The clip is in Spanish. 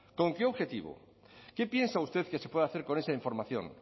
con qué objetivo qué piensa usted que se puede hacer con esa información